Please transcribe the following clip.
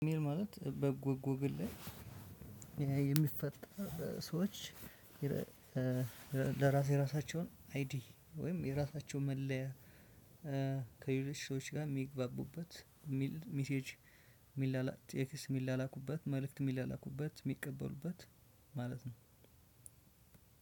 ማለት በጎግል ላይ በኤአይ የሚፈጠር ሰዎች ለራስ የራሳቸውን አይዲ ወይም የራሳቸውን መለያ ከሌሎች ሰዎች ጋር የሚግባቡበት ሚሴጅ ሚላላኩበት ቴክስት ሚላላኩበት መልእክት ሚላላኩበት ሚቀበሉበት ማለት ነው።